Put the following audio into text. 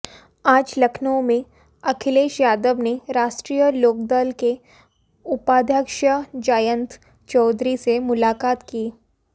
आज लखनऊ में अखिलेश यादव ने राष्ट्रीय लोकदल के उपाध्यक्ष जयंत चौधरी से मुलाकात की